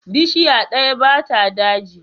Bishiya ɗaya ba ta daji.